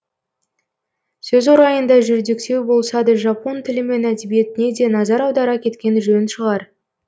сөз орайында жүрдектеу болса да жапон тілі мен әдебиетіне де назар аудара кеткен жөн шығар